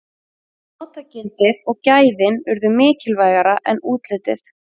notagildið og gæðin urðu mikilvægara en útlitið